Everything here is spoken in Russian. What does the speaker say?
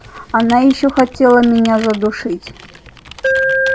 она ещё хотела меня задушить